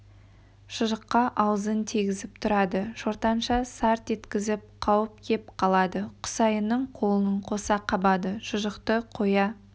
шұжыққа аузын тигізіп тұрады шортанша сарт еткізіп қауып кеп қалады құсайынның қолын қоса қабады шұжықты қоя